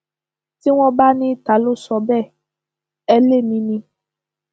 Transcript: tí wọn bá ní ta ló sọ bẹẹ ẹ lémi ni